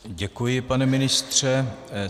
Děkuji, pane ministře.